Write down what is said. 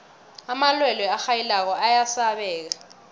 amalwelwe arhayilako ayasabeka